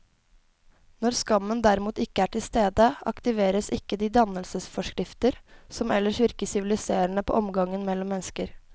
Når skammen derimot ikke er til stede, aktiveres ikke de dannelsesforskrifter som ellers virker siviliserende på omgangen mellom mennesker.